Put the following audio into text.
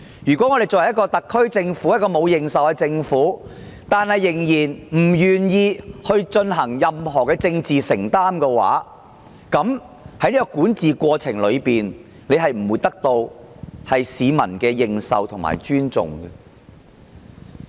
如果一個沒有認受性的特區政府仍然不願意作出任何政治承擔，它的管治不會得到市民的認受和尊重。